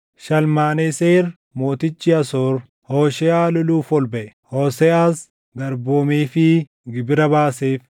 Shalmaneseer mootichi Asoor Hoosheeʼaa loluuf ol baʼe; Hooseʼaas garboomeefii gibira baaseef.